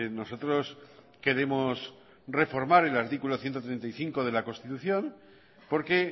nosotros queremos reformar el artículo ciento treinta y cinco de la constitución porque